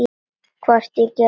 Hvort ég gerði.